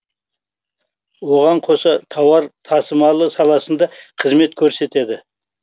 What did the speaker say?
оған қоса тауар тасымалы саласында қызмет көрсетеді